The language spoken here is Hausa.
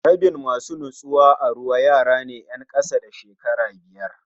Rabin masu nutsuwa a ruwa yarane 'yen kasa da shekara biyar